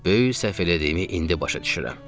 Böyük səhv elədiyimi indi başa düşürəm.